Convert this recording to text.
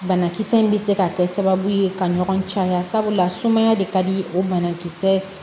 Banakisɛ in bɛ se ka kɛ sababu ye ka ɲɔgɔn caya sabula de ka di o banakisɛ